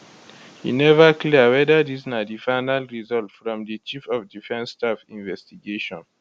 e neva clear weda dis na di final result from di chief of defence staff investigation